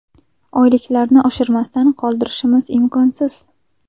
Oyliklarni oshirmasdan qoldirishimiz imkonsiz.